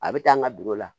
A bɛ taa n ka dugu la